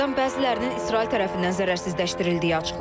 Dronlardan bəzilərinin İsrail tərəfindən zərərsizləşdirildiyi açıqlanıb.